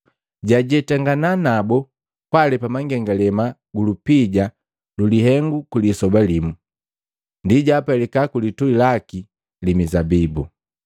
Jajetangana nabu kwaalepa mangengalema gu lupija lulihengu lwi lisoba limu, ndi jwaapelika kulitui laki li mizabibu.